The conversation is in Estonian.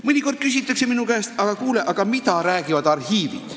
Mõnikord küsitakse minu käest, et kuule, mida räägivad arhiivid.